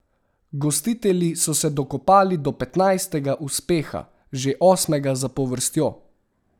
Gostitelji so se dokopali do petnajstega uspeha, že osmega zapovrstjo.